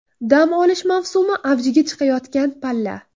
Dam olish mavsumi avjiga chiqayotgan palla.